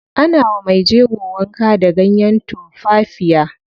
Ana wa mejego wanka da ganyen tumfafiya.